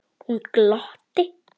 Hún glotti.